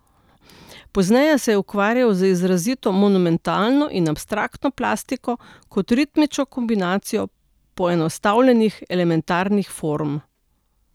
Pozneje se je ukvarjal z izrazito monumentalno in abstraktno plastiko, kot ritmično kombinacijo poenostavljenih elementarnih form.